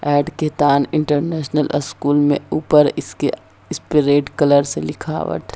Add के तान international school में ऊपर इसके इसपे रेड कलर से लिखा हुआ है।